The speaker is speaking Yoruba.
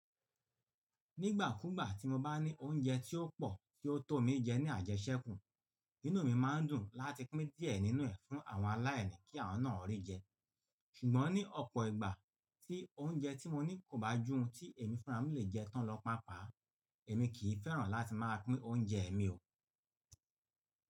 Nígbàkúùgbà tí mo bá ní oúnjẹ tí ó pọ̀ tí ó tó mi jẹ ní àjẹ́sẹ́kù, inú mi máa ń dùn láti pín díẹ̀ nínú ẹ̀ fún àwọn aláìní kí wọ́n náà rí jẹ. Ṣùgbọ́n ní ọ̀pọ̀ ìgbà tí oúnjẹ tí mo ní kò bá jù ohun tí èmi fúnra mú lè jẹ tán lọ pàápàá, èmi kì í fẹ́ràn láti máa pín oúnjẹ mi o.